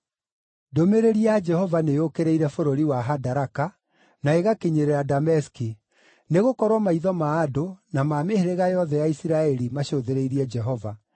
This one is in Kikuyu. Ndũmĩrĩri ya Jehova nĩyũkĩrĩire bũrũri wa Hadaraka, na ĩgakinyĩrĩra Dameski: nĩgũkorwo maitho ma andũ, na ma mĩhĩrĩga yothe ya Isiraeli macũthĩrĩirie Jehova,